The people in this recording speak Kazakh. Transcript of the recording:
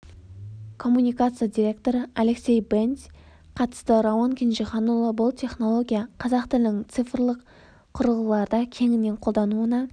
коммуникация директоры алексей бендзь қатысты рауан кенжеханұлы бұл технология қазақ тілінің цифрлық құрылғыларда кеңінен қолдануына